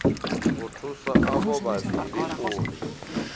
u thusa avho vhavhili uri